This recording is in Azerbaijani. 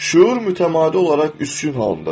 Şuur mütəmadi olaraq üstün haldadır.